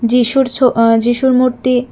যীশুর ছো আ যীশুর মূর্তি--